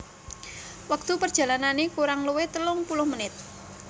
Wektu perjalanane kurang luwih telung puluh menit